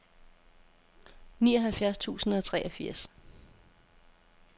nioghalvfjerds tusind og treogfirs